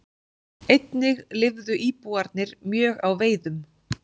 Einnig lifðu íbúarnir mjög á veiðum.